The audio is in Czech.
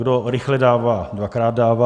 Kdo rychle dává, dvakrát dává.